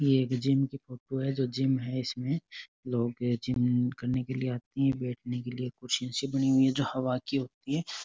एक जिम की फोटो है जो जिम है इसमें लोग जिम करने आते है बैठने के लिए कुर्सियां सी बनी हुई है जो हवा की होती है।